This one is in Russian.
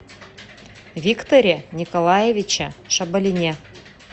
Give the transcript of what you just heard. викторе николаевиче шабалине